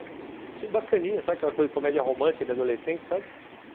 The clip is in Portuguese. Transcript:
Achei bacaninha, sabe aquela coisa de comédia romântica de adolescente, sabe?